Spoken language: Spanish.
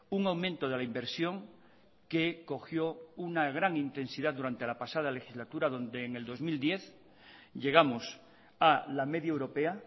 un aumento de la inversión que cogió una gran intensidad durante la pasada legislatura donde en el dos mil diez llegamos a la media europea